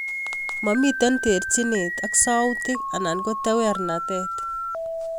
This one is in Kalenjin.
Momitei terchinet ak sautik anan ko tewernatet